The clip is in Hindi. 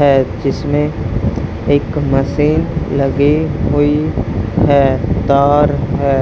है जिसमें एक मशीन लगी हुई है तार है